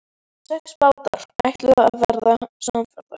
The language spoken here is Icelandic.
Sex bátar ætluðu að verða samferða.